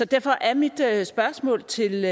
derfor er mit spørgsmål til